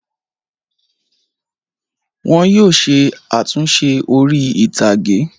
Wọn yóò ṣe àtúnṣe orí-ìtàgé.